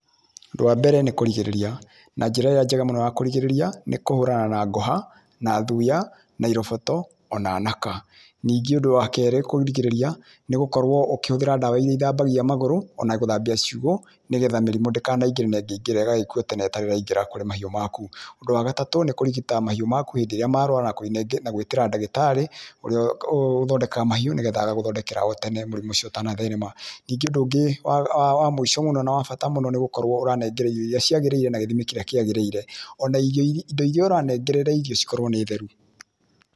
Ũndũ wa mbere nĩ kũrigĩrĩria na njĩra ĩrĩa njega mũno ya kũrigĩrĩria nĩ kũharana na ngũha na thuya na iroboto ona naka, ningĩ ũndũ wa kerĩ nĩ kũrigĩrĩria nĩ gũkorwo ũkĩhũthĩra na dawa iria ithambagia magũrũ ona gũthambia ciugũ nĩ getha mĩrimũ ndĩkanaingĩre na ingĩingĩra ĩgagĩkua tene ĩtarĩ ĩringĩra kũrĩ mahiũ maku, ũndũ wagatatũ nĩ kũrigita mahiũ maku hĩndĩ ĩrĩa ma rwara na gwĩtĩra ndagĩtarĩ ũrĩa ũthondekaga mahiũ nĩgetha agagũthondekera o tene mũrimũ ũcio ũtana therema ningĩ ũndũ ũngĩ wa mũico mũno ma wabata nĩgũkorwo ũranengera irio iria cia gĩrĩire na gĩthimi kĩrĩa kĩagĩrĩire ona indo iria oranengereria irio cikorwo nĩ theru